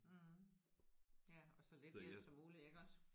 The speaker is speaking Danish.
Mh ja og så lidt hjælp som muligt iggås